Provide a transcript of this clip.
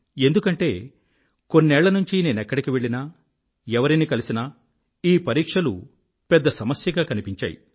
ఎందుకంటే కొన్నేళ్ళ నుంచీ నేనెక్కడికి వెళ్ళినా ఎవరిని కలిసినా ఈ పరీక్షలు పెద్ద సమస్యగా కనిపించాయి